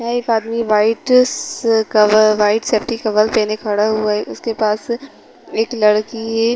यहाँ एक आदमी वाइट स कवर वाइट सेफ्टी कवर पहने खड़ा हुआ है उसके पास एक लड़की--